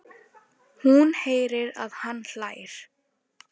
Hún heyrir að hann hlær.